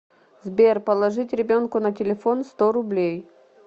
сбер положить ребенку на телефон сто рублей